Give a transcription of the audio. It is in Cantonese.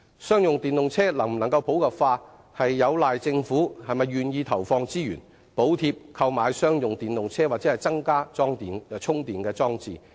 商用電動車能否普及，端賴政府是否願意投放資源，補貼購買商用電動車及增加充電裝置。